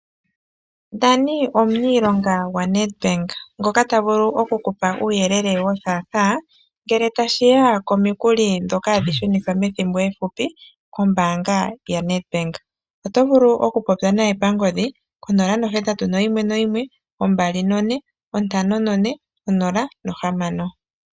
Danie omuniilonga gwaNedBank ngoka ta vulu oku kupa uuyelele wothaathaa ngele tashi ya komikuli ndhoka hadhi shunithwa methimbo ehupi kombaanga yaNedBank . Oto vulu okupopya naye pangodhi konola nohatatu noyimwe noyimwe ombali none ontano none onola nohamano.